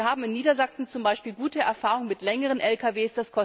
Wir haben in Niedersachsen zum Beispiel gute Erfahrungen mit längeren Lkw.